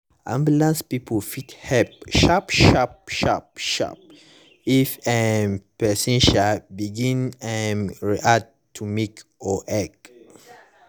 ambulance people fit help sharp sharp sharp sharp if um person um begin um react to milk or egg.